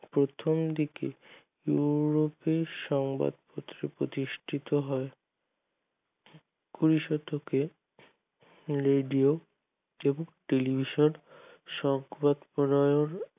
প্রথম দিকে উন্নতি সংবাদপত্র প্রতিষ্টিত হয় কুড়ি শতকে রেডিও তা television সংবাদ প্রতিবেদন